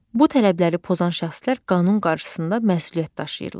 Bu tələbləri pozan şəxslər qanun qarşısında məsuliyyət daşıyırlar.